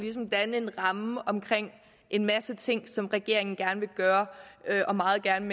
danne en ramme omkring en masse ting som regeringen gerne vil gøre meget gerne